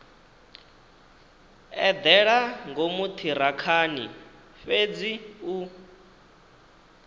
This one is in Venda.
eḓela ngomu ṱhirakhani fhedzi u